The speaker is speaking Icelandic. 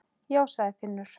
Já, sagði Finnur.